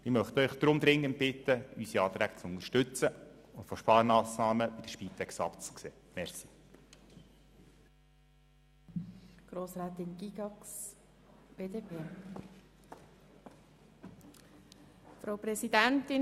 Ich möchte Sie deshalb dringend bitten, unsere Anträge zu unterstützen und von Sparmassnahmen bei der Spitex abzusehen.